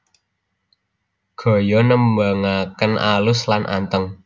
Gaya nembangaken alus lan anteng